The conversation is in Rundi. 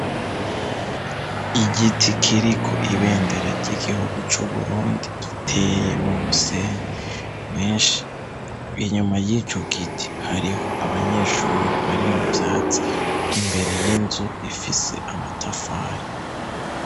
Iigiti kiriko ibendera ry'igihugu c'uburundi giteye mu musenyi mwinshi inyuma y'icyo giti hariho abanyeshuri bari mu byatsi imbere y'inzu ifise amatafari.